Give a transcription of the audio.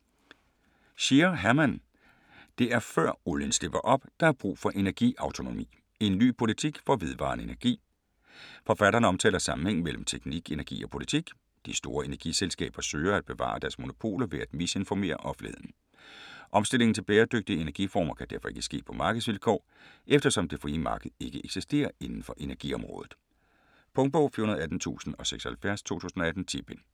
Scheer, Hermann: Det er før olien slipper op, der er brug for energiautonomi: en ny politik for vedvarende energi Forfatteren omtaler sammenhængen mellem teknik, energi og politik. De store energiselskaber søger, at bevare deres monopoler ved at misinformere offentligheden. Omstillingen til bæredygtige energiformer kan derfor ikke ske på markedsvilkår, eftersom det frie marked ikke eksisterer indenfor energiområdet. Punktbog 418076 2018. 10 bind.